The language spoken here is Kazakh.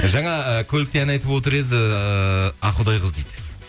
жаңа ы көлікте ән айтып отыр еді ақұдай қыз дейді